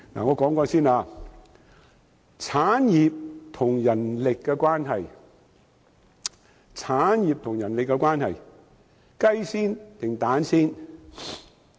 我先說產業與人力的關係，究竟先有雞還是先有雞蛋？